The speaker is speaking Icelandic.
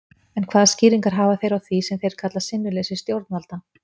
En hvaða skýringar hafa þeir á því sem þeir kalla sinnuleysi stjórnvalda?